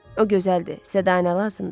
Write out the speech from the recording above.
O gözəldir, sədə nə lazımdır?